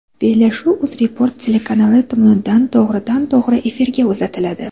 Bellashuv UzReport telekanali tomonidan to‘g‘ridan to‘g‘ri efirda uzatiladi.